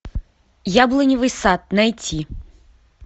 яблоневый сад найти